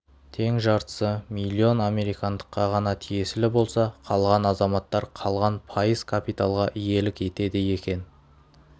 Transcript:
тең жартысы млн американдыққа ғана тиесілі болса қалған азаматтар қалған пайыз капиталға иелік етеді екен